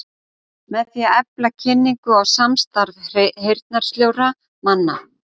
Með því að efla kynningu og samstarf heyrnarsljórra manna.